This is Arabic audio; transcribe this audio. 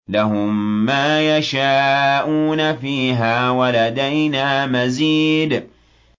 لَهُم مَّا يَشَاءُونَ فِيهَا وَلَدَيْنَا مَزِيدٌ